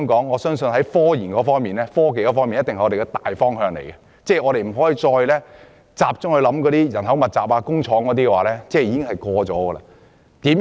我相信發展科研定必是香港的大方向，我們不可再着眼於勞工密集的工業，因為已經過時。